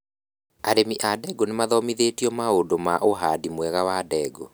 Arĩmi a ndengũ nĩmathomithĩtio maũndũ ma ũhandi mwega wa ndengũ